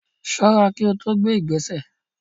Ṣọ́ra kí o tó gbé ìgbésẹ̀.